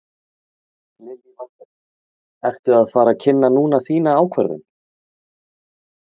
Lillý Valgerður: Ertu að fara að kynna núna þína ákvörðun?